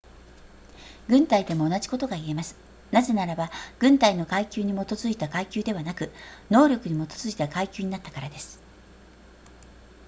軍隊でも同じことが言えますなぜならば軍隊の階級に基づいた階級ではなく能力に基づいた階級になったからです